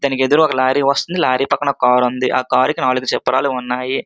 తనకు ఎదురు ఒక లారీ వస్తున్నది. లారీ పక్కన ఒక కార్ ఉన్నది. ఆ కార్ కి నాలుగు చక్రాలు ఉన్నాయి.